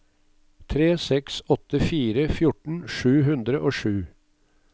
tre seks åtte fire fjorten sju hundre og sju